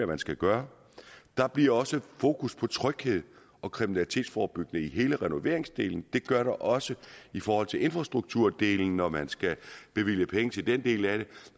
man skal gøre der bliver også fokus på tryghed og kriminalitetsforebyggelse i hele renoveringsdelen det gør der også i forhold til infrastrukturdelen når man skal bevilge penge til den del af det